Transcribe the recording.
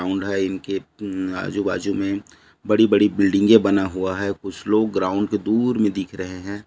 दूर है इनके आजू-बाजु में बड़ी-बड़ी बिल्डिंगे बना हुआ है कुछ लोग ग्राऊंड के दूर में दिख रहे है।